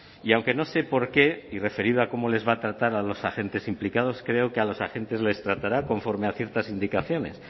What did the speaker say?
y aunque no sé por qué y referido a cómo les va a tratar a los agentes implicados creo que a los agentes les tratará conforme a ciertas indicaciones